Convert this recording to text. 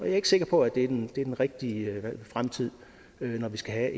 ikke sikker på at det er den rigtige fremtid når vi skal have